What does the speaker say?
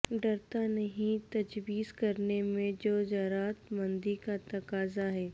ڈرتا نہیں ہے تجویز کرنے میں جو جرات مندی کا تقاضہ ہے